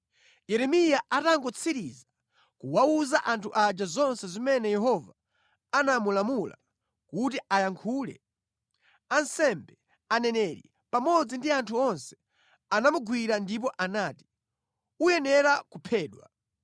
Yeremiya atangotsiriza kuwawuza anthu aja zonse zimene Yehova anamulamula kuti ayankhule, ansembe, aneneri pamodzi ndi anthu onse anamugwira ndipo anati, “Uyenera kuphedwa!